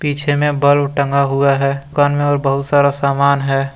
पीछे में बल्ब टंगा हुआ है दुकान में और बहुत सारा सामान है।